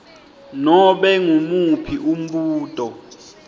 nobe ngumuphi umbuto